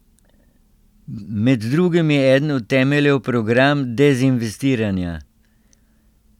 Med drugim je eden od temeljev program dezinvestiranja.